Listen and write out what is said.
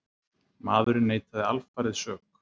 Maðurinn neitaði alfarið sök